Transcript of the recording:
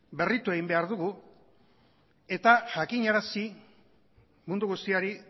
berritu egin behar dugu eta jakinarazi mundu guztiari